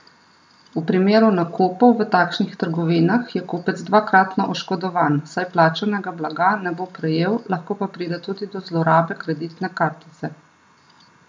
V primeru nakupov v takšnih trgovinah, je kupec dvakratno oškodovan, saj plačanega blaga ne bo prejel, lahko pa pride tudi do zlorabe kreditne kartice.